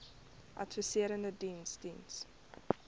adviserende diens diens